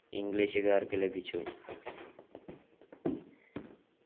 ഇംഗ്ലീഷുകാർക്ക് ലഭിച്ചു